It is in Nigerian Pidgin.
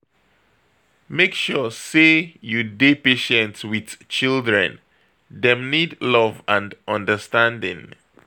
Make sure sey you dey patient wit children, dem need love and understanding